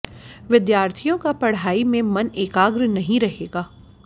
विद्यार्थियों का पढ़ाई में मन एकाग्र नहीं रहेगा